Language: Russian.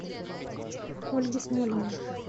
ольги смолиной